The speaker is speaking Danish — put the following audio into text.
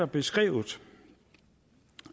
beskrevet